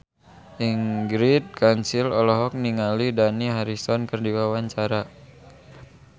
Ingrid Kansil olohok ningali Dani Harrison keur diwawancara